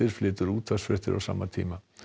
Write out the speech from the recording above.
flytur útvarpsfréttir á sama tíma